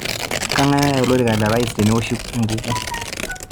kengae oyaa olorika lo rais tenewoshi enkukuo